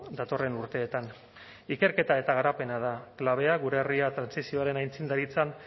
datorren urteetan ikerketa eta garapena da klabea gure herria trantsizioaren aintzindaritzan